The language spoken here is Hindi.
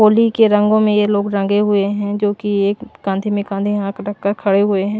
होली के रंगों में ये लोग रंगे हुए हैं जो कि एक कांधे में कांधे यहां रखकर खड़े हुए हैं।